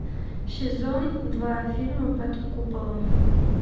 сезон два фильма под куполом